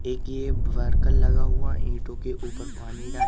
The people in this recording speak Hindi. एक ये वर्कर लगा हुआ ईंटों के ऊपर पानी डाल--